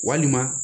Walima